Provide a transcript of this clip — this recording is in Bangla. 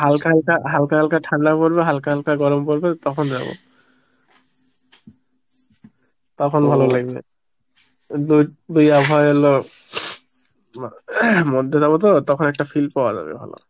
হালকা হালকা হালকা হালকা ঠান্ডা পড়বে হালকা গরম পরবে তখন যাব তখন ভালোলাগবে, দুই~ দুই আবহাওয়াএর লো মা~ মধ্যে যাবো তো তখন একটা feel পাওয়া যাবে ভালো